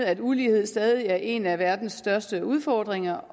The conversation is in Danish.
at ulighed stadig er en af verdens største udfordringer